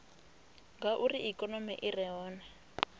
ngauri ikonomi i re hone